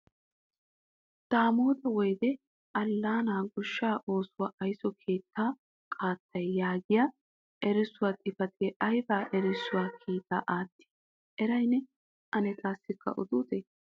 Daamotta woydde Allana goshshaa oosuwa aysso keettaa qaatay yaagiya erissuwa xifatee aybbba erissuwa kiita aatti eray neeni? Ane taassika odutee?